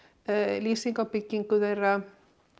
lýsing á byggingu þeirra